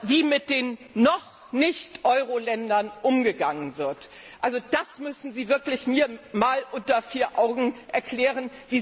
Wie mit den Noch Nicht Euro Ländern umgegangen wird, das müssen sie mir wirklich einmal unter vier Augen erklären!